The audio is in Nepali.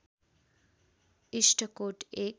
इस्टकोट एक